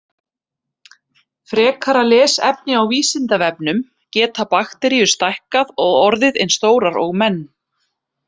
Frekara lesefni á Vísindavefnum: Geta bakteríur stækkað og orðið eins stórar og menn?